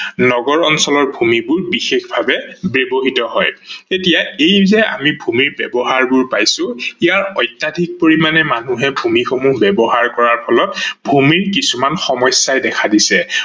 ন্গৰ অঞ্চলৰ ভূমি বোৰ বিশেষভাবে ব্যৱহিত হয়। এতিয়া এই যে আমি ভূমিৰ ব্যৱহাৰ বোৰ পাইছো ইয়াৰ অত্যাধিক পৰিমানে মানুহে ভূমি সমূহ ব্যৱহাৰ কৰাৰ ফলত ভূমি কিছুমান সমস্যাই দেখা দিছে